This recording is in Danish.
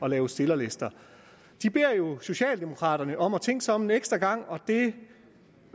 at lave stillerlister de beder jo socialdemokraterne om at tænke sig om en ekstra gang og det